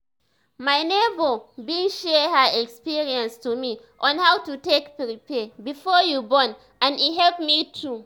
my neighbor bin share her experience to me on how to take prepare before your born and e help me too